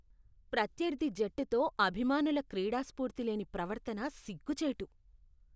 ప్రత్యర్థి జట్టుతో అభిమానుల క్రీడాస్ఫూర్తి లేని ప్రవర్తన సిగ్గుచేటు.